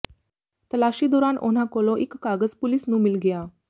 ਤਲਾਸ਼ੀ ਦੌਰਾਨ ਉਨ੍ਹਾਂ ਕੋਲੋਂ ਇਕ ਕਾਗਜ਼ ਪੁਲਿਸ ਨੂੰ ਮਿਲ ਗਿਆ